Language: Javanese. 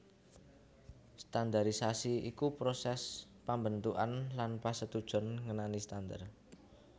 Standarisasi iku prosès pambentukan lan pasetujon ngenani Standar